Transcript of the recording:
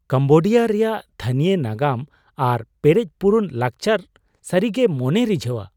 Cambodia ᱨᱮᱭᱟᱜ ᱛᱷᱟᱹᱱᱤᱭᱚ ᱱᱟᱜᱟᱢ ᱟᱨ ᱯᱮᱨᱮᱡᱼᱯᱩᱨᱩᱱ ᱞᱟᱠᱪᱟᱨ ᱥᱟᱹᱨᱤ ᱜᱮ ᱢᱚᱱᱮᱭ ᱨᱤᱡᱷᱟᱹᱣᱟ ᱾